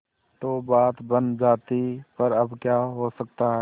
तो बात बन जाती पर अब क्या हो सकता है